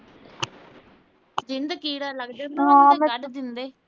ਕੀੜਾ ਲੱਗ ਜਾਂਦਾ ਉਹਨੂੰ ਨਾ ਕੱਢ ਦਿੰਦੇ।